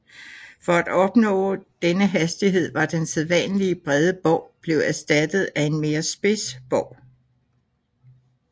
For at opnå denne hastighed var den sædvanlige brede bov blevet erstattet af en mere spids bov